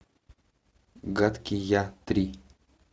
гадкий я три